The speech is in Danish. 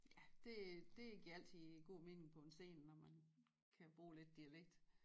Ja det det giver altid god mening på en scene når man kan bruge lidt dialekt